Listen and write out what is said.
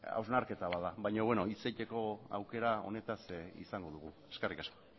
hausnarketa bat da baina hitz egiteko aukera honetaz izango dugu eskerrik asko